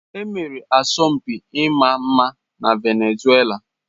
E mere asọmpi ịma mma na Venezuela.